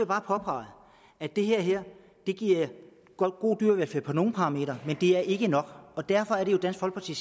bare påpege at det her giver god dyrevelfærd på nogle parametre men det er ikke nok og derfor er det dansk folkeparti